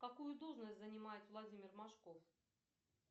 какую должность занимает владимир машков